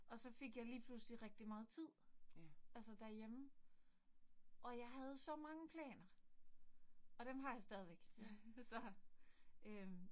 Og så fik jeg lige pludselig rigtig meget tid, altså derhjemme, og jeg havde så mange planer, og dem har jeg stadigvæk så øh